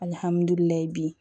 Alihamudulila bi